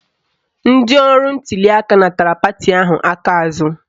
Ndị ọrụ ntuliaka natara pati ahụ aka azụ